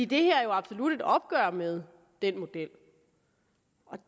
det her er jo absolut et opgør med den model og